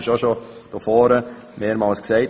Das wurde hier vorne bereits mehrmals gesagt.